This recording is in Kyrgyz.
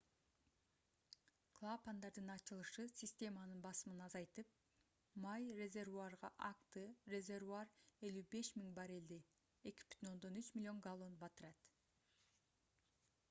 клапандардын ачылышы системанын басымын азайтып май резервуарга акты резервуар 55 000 баррелди 2,3 миллион галлон батырат